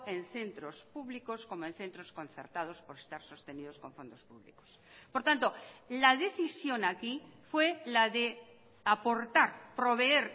en centros públicos como en centros concertados por estar sostenidos con fondos públicos por tanto la decisión aquí fue la de aportar proveer